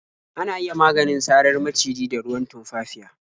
Ana iya maganin sarar maciji da ruwan tumfafiya.